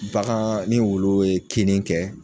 bagaan ni wulu ye kinni kɛ